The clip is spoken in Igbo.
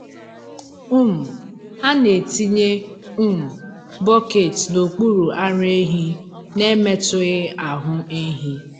um A na-etinye um bọket n’okpuru ara ehi n’emetụghị ahụ ehi.